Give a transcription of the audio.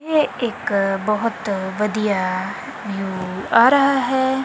ਇਹ ਇੱਕ ਬਹੁਤ ਵਧੀਆ ਵਿਊ ਆ ਰਹਾ ਹੈ।